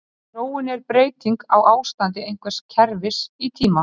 Þróun er breyting á ástandi einhvers kerfis í tíma.